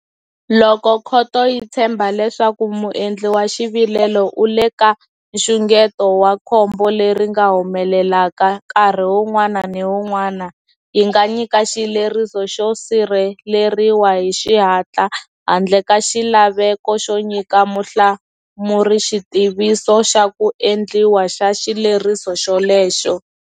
Loko khoto yi tshemba leswaku muendli wa xivilelo u le ka nxungeto wa khombo leri nga humelelaka nkarhi wun'wana ni wun'wana, yi nga nyika xileriso xo sirheleriwa hi xihatla handle ka xilaveko xo nyika muhlamuri xitiviso xa ku endliwa xa xileriso xolexo.